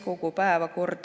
Tarmo Kruusimäe, palun!